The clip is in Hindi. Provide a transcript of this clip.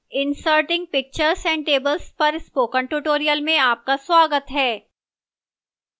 inserting pictures and tables पर spoken tutorial में आपका स्वागत है